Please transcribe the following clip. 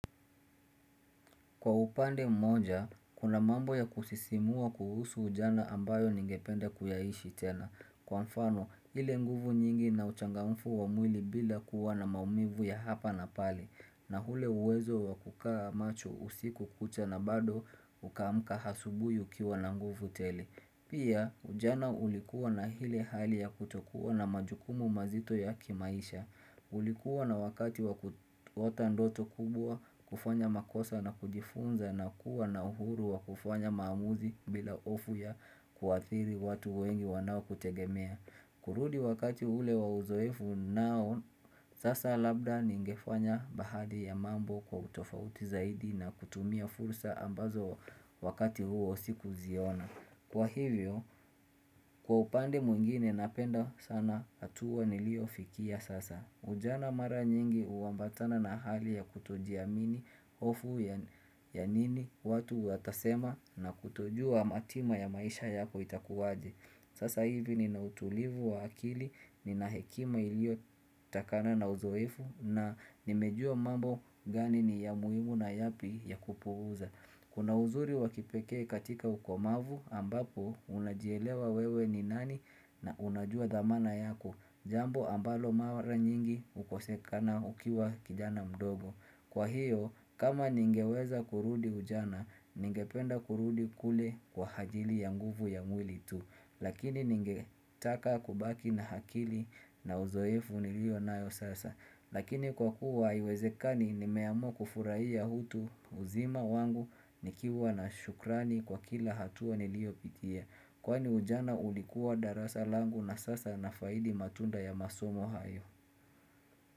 Kwa upande mmoja, kuna mambo ya kusisimua kuhusu ujana ambayo ningependa kuyaishi tena, kwa mfano ile nguvu nyingi na uchangamfu wa mwili bila kuwa na maumivu ya hapa na pale, na ule uwezo wa kukaa macho usiku kucha na bado ukaamka asubuhi ukiwa na nguvu tele. Pia ujana ulikuwa na ile hali ya kutokuwa na majukumu mazito ya kimaisha. Ulikuwa na wakati kuota ndoto kubwa kufanya makosa na kujifunza na kuwa na uhuru wa kufanya maamuzi bila hofu ya kuathiri watu wengi wanao kutegemea. Kurudi wakati ule wa uzoefu nao, sasa labda ningefanya bahadhi ya mambo kwa utofauti zaidi na kutumia fursa ambazo wakati huo sikuziona. Kwa hivyo, kwa upande mwingine napenda sana hatua niliyofikia sasa. Ujana mara nyingi uambatana na hali ya kutojiamini hofu ya nini watu watasema na kutojua matima ya maisha yako itakuwaje. Sasa hivi ninautulivu wa akili nina hekima ilio takana na uzoefu na nimejua mambo gani ni ya muhimu na yapi ya kupuza Kuna uzuri wakipeke katika ukomavu ambapo unajielewa wewe ni nani na unajua dhamana yako Jambo ambalo mara nyingi ukosekana ukiwa kijana mdogo Kwa hiyo kama ningeweza kurudi ujana ningependa kurudi kule kwa hajili ya nguvu ya mwili tu Lakini ningetaka kubaki na hakili na uzoefu nilio nayo sasa Lakini kwa kuwa haiwezekani nimeamua kufuraiya utu uzima wangu nikiwa na shukrani kwa kila hatua niliyopitia Kwani ujana ulikuwa darasa langu na sasa nafaidi matunda ya masomo hayo.